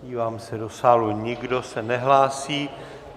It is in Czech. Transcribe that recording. Dívám se do sálu, nikdo se nehlásí.